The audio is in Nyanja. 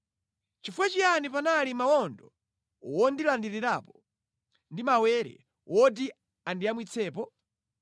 Chifukwa chiyani panali mawondo wondilandirirapo ndi mawere woti andiyamwitsepo?